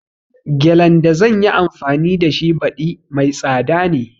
Gelen da zanyi anfani da shi baɗi mai tsada ne